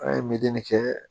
An ye medeli kɛ